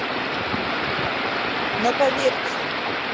но поверьте